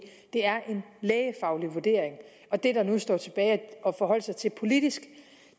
det er en lægefaglig vurdering og det der nu står tilbage at forholde sig til politisk